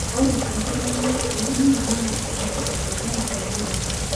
ore enkiremore olnyanya naa enetipat oleng temurua